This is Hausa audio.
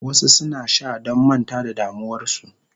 Wasu suna sha don manta da damuwarsu.